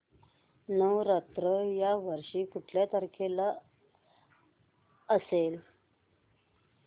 नवरात्र या वर्षी कुठल्या तारखेला असेल